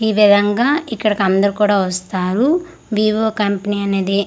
ఈ విధంగా ఇక్కడికందరూ కూడా వస్తారు వివో కంపెనీ అనేది--